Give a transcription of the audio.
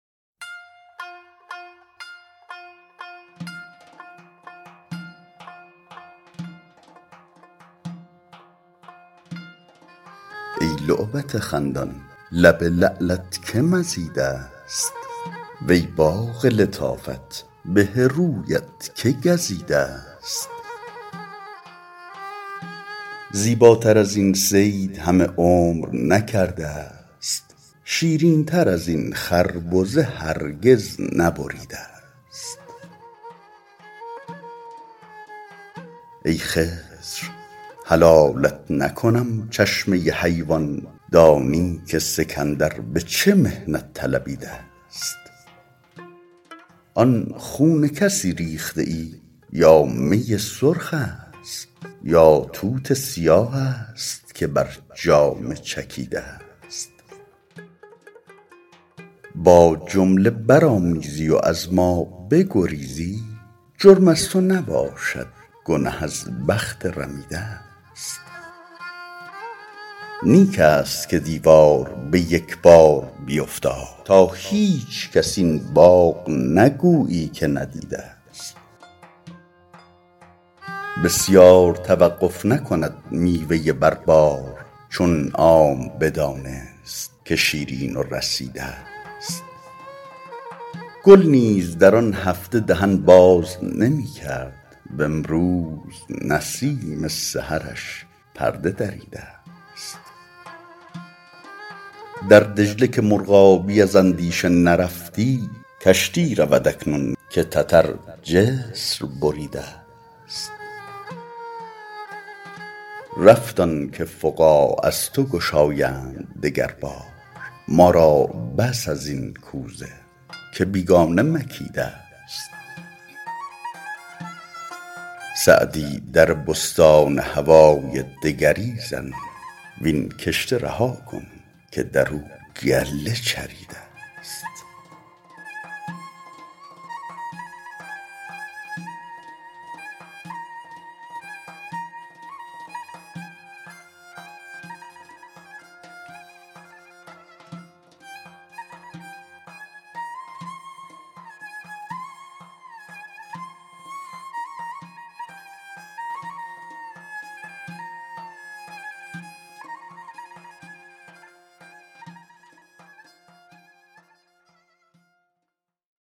ای لعبت خندان لب لعلت که مزیده ست وی باغ لطافت به رویت که گزیده ست زیباتر از این صید همه عمر نکرده ست شیرین تر از این خربزه هرگز نبریده ست ای خضر حلالت نکنم چشمه حیوان دانی که سکندر به چه محنت طلبیده ست آن خون کسی ریخته ای یا می سرخ است یا توت سیاه است که بر جامه چکیده ست با جمله برآمیزی و از ما بگریزی جرم از تو نباشد گنه از بخت رمیده ست نیک است که دیوار به یک بار بیفتاد تا هیچکس این باغ نگویی که ندیده ست بسیار توقف نکند میوه بر بار چون عام بدانست که شیرین و رسیده ست گل نیز در آن هفته دهن باز نمی کرد وامروز نسیم سحرش پرده دریده ست در دجله که مرغابی از اندیشه نرفتی کشتی رود اکنون که تتر جسر بریده ست رفت آن که فقاع از تو گشایند دگر بار ما را بس از این کوزه که بیگانه مکیده ست سعدی در بستان هوای دگری زن وین کشته رها کن که در او گله چریده ست